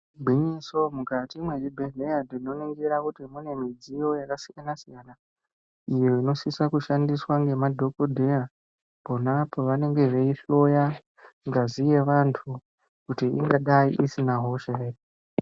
Igwinyiso mukati mwezvibhehlera tinoningira kuti mune mudziyo yakasiyana siyana iyo inosisa kushandiswa ngemadhokoteya pona apo vanenge veihloya ngazi yevantu kuti ingadai isina hosa ere.